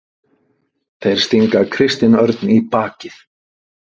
Þeir stinga Kristinn Örn í bakið